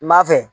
N m'a fɛ